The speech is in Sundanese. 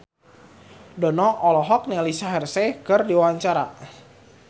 Dono olohok ningali Shaheer Sheikh keur diwawancara